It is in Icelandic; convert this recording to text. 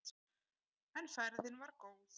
En ferðin var góð.